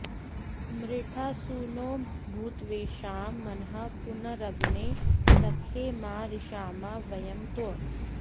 मृ॒ळा सु नो॒ भूत्वे॑षां॒ मनः॒ पुन॒रग्ने॑ स॒ख्ये मा रि॑षामा व॒यं तव॑